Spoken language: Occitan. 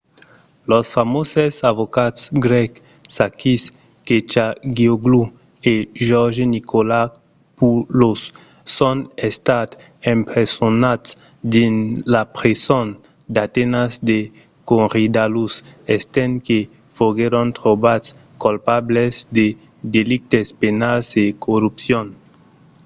los famoses avocats grècs sakis kechagioglou e george nikolakopoulos son estats empresonats dins la preson d'atenas de korydallus estent que foguèron trobats colpables de delictes penals e corrupcion